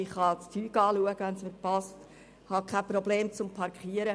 Ich kann die Dinge betrachten, wenn ich will und habe keine Parkierungsprobleme.